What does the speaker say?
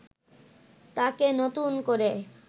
তাকে নতুন করে